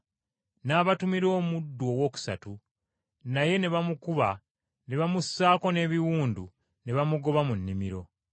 N’abatumira omuddu owookusatu, naye ne bamukuba ne bamussaako n’ebiwundu ne bamugoba mu nnimiro.